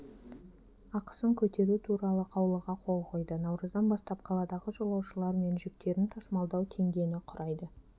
ақысын көтеру туралы қаулыға қол қойды наурыздан бастап қаладағы жолаушылар мен жүктерін тасымалдау теңгені құрайды